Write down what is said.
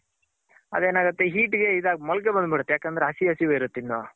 ಅದೆನಾಗುತ್ತೆ heat ಮೊಳಕೆ ಬಂದ್ ಬಿಡುತ್ತೆ ಯಾಕಂದ್ರೆ ಹಸಿ ಹಸಿ ವೆ ಇರುತ್ತೆ ಇನ್ನು.